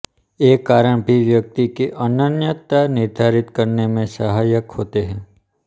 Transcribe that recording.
ये कारण भी व्यक्ति की अनन्यता निर्धारित करने में सहायक होते है